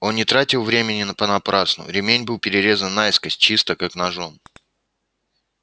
он не тратил времени на понапрасну ремень был перерезан наискось чисто как ножом